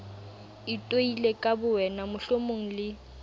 itoile ka bowena mohlomong le